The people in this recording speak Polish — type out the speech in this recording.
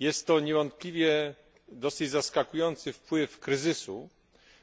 Jest to niewątpliwie dosyć zaskakujący wpływ kryzysu,